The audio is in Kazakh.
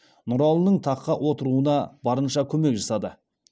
нұралының таққа отыруына барынша көмек жасады